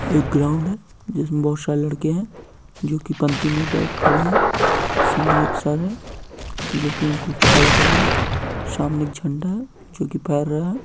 एक ग्राउंड है जिसमें बहुत सारे लड़के है जो पंक्ति में खड़े हैं सामने एक सर है जो की उनको रहा है सामने एक झंडा है जो कि है।